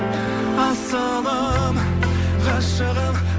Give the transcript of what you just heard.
асылым ғашығым